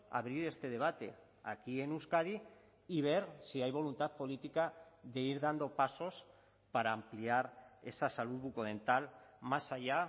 abrir este debate aquí en euskadi y ver si hay voluntad política de ir dando pasos para ampliar esa salud bucodental más allá